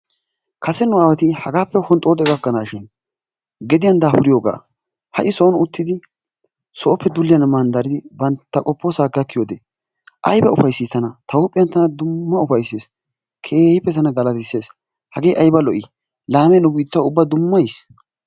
Kasse nu aawati hagaappe honxoxo gakanashin gediyaan dafuriyogga ha'i soon uttidi soppe dulliyan mandaridi bantta qofossa gakkiyode ayiba ufayssi tana, tana ta huphphen dumma ufaysses. Keehippe tana galattises hagge ayibba lo'i laame nu biittas dumma yiis.